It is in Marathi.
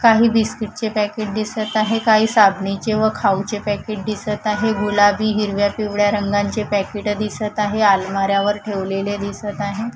काही बिस्कीटचे पॅकेट दिसतं आहेत काही साबणेचे व खाऊचे पॅकेट दिसत आहे गुलाबी हिरव्या पिवळ्या रंगांचे पॅकेट दिसतं आहे अलमाऱ्या वर ठेवलेले दिसतं आहेत.